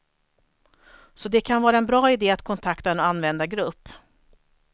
Så det kan vara en bra idé att kontakta en användargrupp.